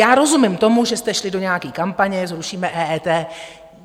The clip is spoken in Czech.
Já rozumím tomu, že jste šli do nějaké kampaně "zrušíme EET".